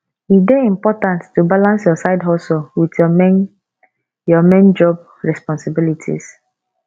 e dey important to balance your sidehustle with your main your main job responsibilities